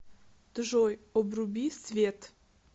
джой обруби свет